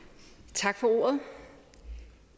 tak for